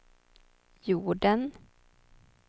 jorden